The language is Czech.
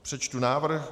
Přečtu návrh.